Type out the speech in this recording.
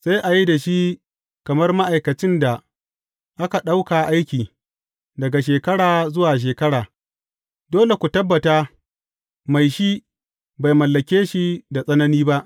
Sai a yi da shi kamar ma’aikacin da aka ɗauka aiki, daga shekara zuwa shekara; dole ku tabbata mai shi bai mallake shi da tsanani ba.